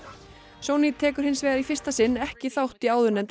Sony tekur hins vegar í fyrsta sinn ekki þátt í áðurnefndri